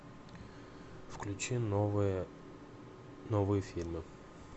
включи новое новые фильмы